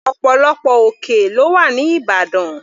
Ọ̀pọ̀lọpọ̀ òkè lọ́wà ní ìbàdàn.